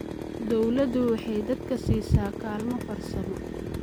Dawladdu waxay dadka siisaa kaalmo farsamo.